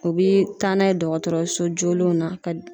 U bi taa n'a ye dɔgɔtɔrɔso jolenw na ka